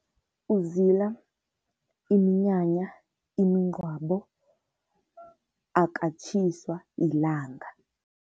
Uzila iminyanya, imingcwabo, akatjhiswa ilanga.